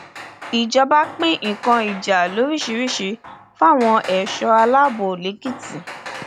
ìjọba pín nǹkan ìjà lóríṣìíríṣìí fáwọn ẹṣọ aláàbọ lẹkìtì